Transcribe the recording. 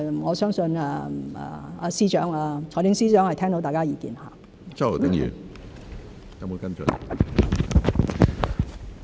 我相信財政司司長是聽到大家的意見。